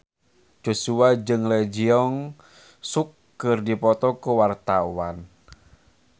Joshua jeung Lee Jeong Suk keur dipoto ku wartawan